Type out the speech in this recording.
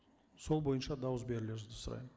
сол бойынша дауыс берулеріңізді сұраймын